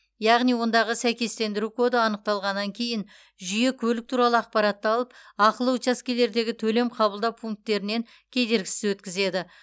яғни ондағы сәйкестендіру коды анықталғаннан кейін жүйе көлік туралы ақпаратты алып ақылы учаскелердегі төлем қабылдау пункттерінен кедергісіз өткізеді